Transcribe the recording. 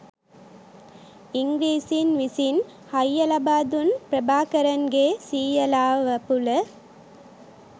ඉංග්‍රීසීන් විසින් හයිය ලබා දුන් ප්‍රභාකරන්ගේ සීයලා වපුල